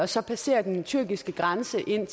så passerer den tyrkiske grænse ind